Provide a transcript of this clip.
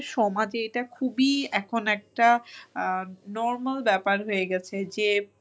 আমাদের সমাজে এখন এটা খুবই normal ব্যাপার হয়ে গেছে যে